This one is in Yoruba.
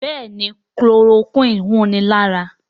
Béèni Chloroquine hùn ní ára.